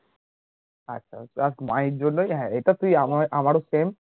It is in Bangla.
আচ্ছা আরকি আর মাহির জন্যই হ্যাঁ এটা কি আমার ও same